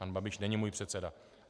Pan Babiš není můj předseda.